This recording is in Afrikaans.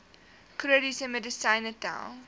chroniese medisyne tel